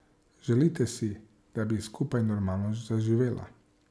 Želite si, da bi skupaj normalno zaživela.